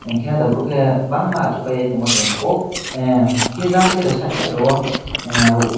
hingke ahta boro ke bangma asogoi tongma nogo hingke jang side side rogo ah.